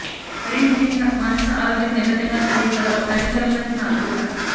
మరీ ముఖ్యంగా మానసిక ఆరోగ్యం నేపథ్యంగా సాగే కథలో నటించాలన్నది నా కోరిక